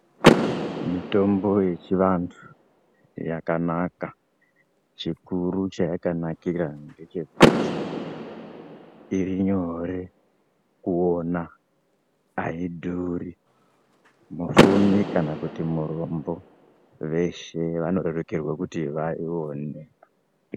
Mutombo yechivantu yakanaka chikuru chayakanakira ngechekuti iri nyore kuona aidhuri mufumi kana kuti murombo veshe vanoririkerwe kuti vaione.